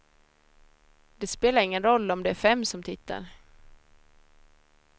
Det spelar ingen roll om det är fem som tittar.